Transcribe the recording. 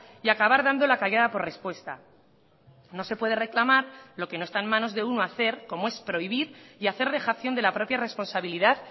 y acabar dando la callada por respuesta no se puede reclamar lo que no está en manos de uno hacer como es prohibir y hacer dejación de la propia responsabilidad